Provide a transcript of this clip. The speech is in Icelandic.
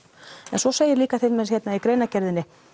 en svo segir hérna í greinargerðinni